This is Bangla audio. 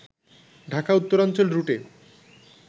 ঢাকা-উত্তরাঞ্চল রুটে